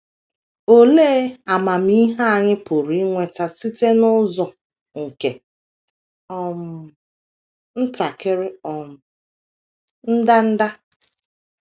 Olee amamihe anyị pụrụ inweta site n’ụzọ nke um ntakịrị um ndanda?